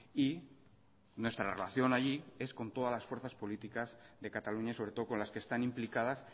y nuestra relación allí es con todas las fuerzas políticas de cataluña sobre todo con las que están implicadas